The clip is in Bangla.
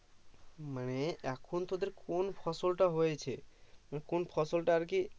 মানে এখন তোদের কোন ফসল টা হয়েছে কোন ফসল টা আর কি